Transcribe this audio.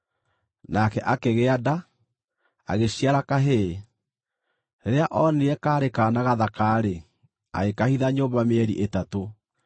nake akĩgĩa nda, agĩciara kahĩĩ. Rĩrĩa onire kaarĩ kaana gathaka-rĩ, agĩkahitha nyũmba mĩeri ĩtatũ.